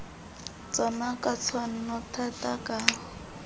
tsona ka tshwanno thata ka